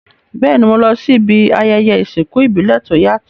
Béèni, mo lo si ibi ayẹyẹ ìsìnkú ìbílẹ̀ to yàtò